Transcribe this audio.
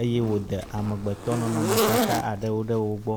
eye woda amegbetɔ nɔnɔmetata aɖe ɖe wo gbɔ.